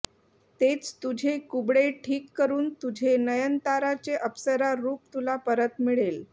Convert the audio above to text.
तेच तुझे कुबडे ठीक करून तुझे नयनताराचे अप्सरा रूप तुला परत मिळेल